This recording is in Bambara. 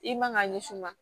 I man ka ɲɛsin ma